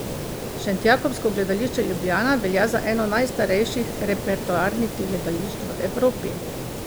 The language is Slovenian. Šentjakobsko gledališče Ljubljana velja za eno najstarejših repertoarnih gledališč v Evropi.